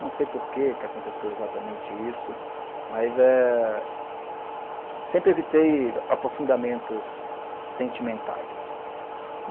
Não sei por que aconteceu exatamente isso, mas eh, sempre evitei aprofundamentos sentimentais.